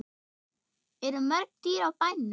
Eru mörg dýr á bænum?